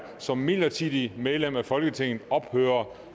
som midlertidigt medlem af folketinget ophører